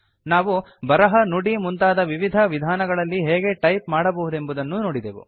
ನಾವು ಬರಹ ನುಡಿ ಮುಂತಾದ ವಿವಿಧ ವಿಧಾನಗಳಲ್ಲಿ ಹೇಗೆ ಟೈಪ್ ಮಾಡಬಹುದೆಂಬುದನ್ನೂ ನೋಡಿದೆವು